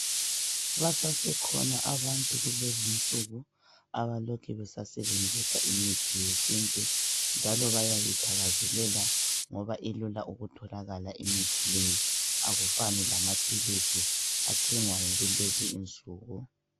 Basasekhona abantu kulezi insuku abalokhe besasebenzisa imithi yesintu njalo bayayithakazelela ngoba ilula ukutholakala imithi leyi akufani lamaphilisi athengwayo kulezi insuku.